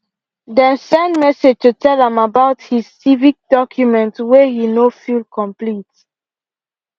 them send message to tell am about his civic documents way he no fill complete